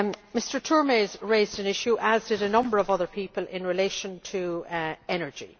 Mr Turmes raised an issue, as did a number of other people, in relation to energy.